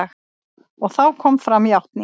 Og þá kom fram játning.